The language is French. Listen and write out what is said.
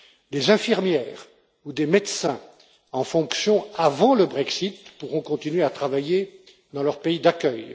Des infirmières ou des médecins en fonction avant le Brexit pourront continuer à travailler dans leur pays d'accueil.